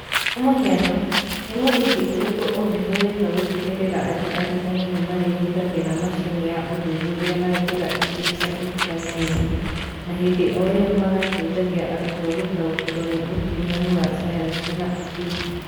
Kwa mũhiano, nĩ mũthingi ũrĩkũ ũngĩhũthĩka gũtigĩrĩra atĩ arutani nĩ marĩhũthagĩra macini ya ũthuthuria na njĩra ingĩ cia ũrutani ng'eni, na hĩndĩ o ĩyo magateithia arutwo gũtaũkĩrũo nĩ ũkuruhanu wa sayansi na ũtugi?